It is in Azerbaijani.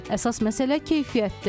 Əsas məsələ keyfiyyətdir.